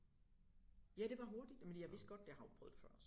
Ja det var hurtigt jamen jeg vidste godt jeg har jo prøvet det før